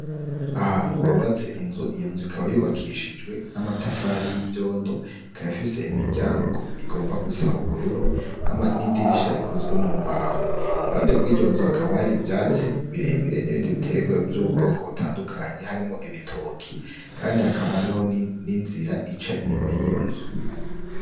Ahantu hubatse inzu, iyo nzu ikaba yubakishijwe na amatafari y'ivyondo, ikaba ifise imiryango igomba gusa ubururu n'idirisha ikozwe mumbaho, iruhande rwiyo nzu hakaba hari ivyatsi birebire nibindi biterwa vyuboko butandukanye harimo ibitoki kandi hakaba hariho ni nzira ica inyuma yiyo nzu.